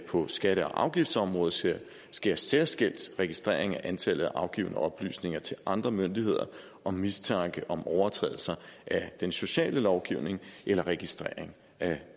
på skatte og afgiftsområdet sker særskilt registrering af antallet af afgivne oplysninger til andre myndigheder om mistanke om overtrædelse af den sociale lovgivning eller registrering af